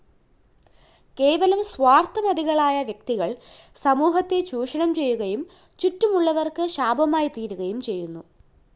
കേവലം സ്വാര്‍ത്ഥമതികളായ വ്യക്തികള്‍ സമൂഹത്തെ ചൂഷണംചെയ്യുകയും ചുറ്റുമുള്ളവര്‍ക്ക് ശാപമായിത്തീരുകയും ചെയ്യുന്നു